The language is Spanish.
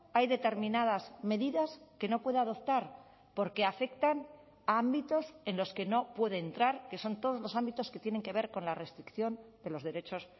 hay determinadas medidas que no puede adoptar porque afectan a ámbitos en los que no puede entrar que son todos los ámbitos que tienen que ver con la restricción de los derechos